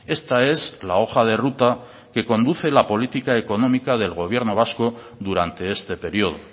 esta es la hoja de ruta que conduce la política económica del gobierno vasco durante este periodo